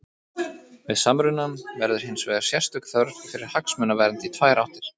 Við samrunann verður hins vegar sérstök þörf fyrir hagsmunavernd í tvær áttir.